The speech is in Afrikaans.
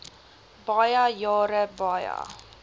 baie jare baie